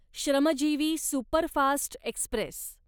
Shramjeevi superfast Express